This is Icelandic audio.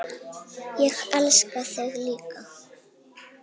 Ég elska þig líka.